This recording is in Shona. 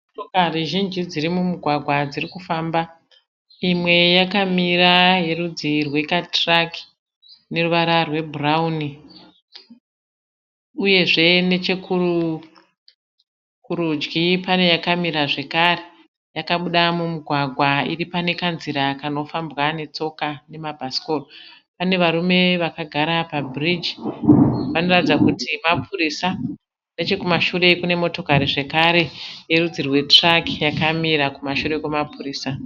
Motokari zhinji dziri mumugwagwa dzirikufamba, imwe yakamira yerudzi rwekatiraki ineruvara rwebhurauni. Uyezve nechekurudyi pane yakamira zvekare yakabuda mumugwagwa iripanekanzira kanofambwa netsoka nemabhasikoro. Pane varume vakagara pabhiriji vanoratidza kuti mapurisa nechekumashure kune motokari zvekare yerudzi rwekatiraki yakamira kumashure kwemapurisa.